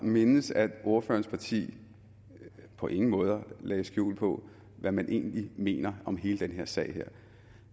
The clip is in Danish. mindes at ordførerens parti på ingen måde lagde skjul på hvad man egentlig mener om hele den her sag